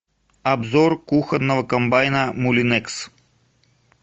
обзор кухонного комбайна мулинекс